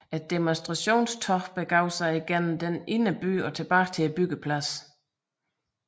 Demonstrationstoget begav sig gennem den indre by og tilbage til byggepladsen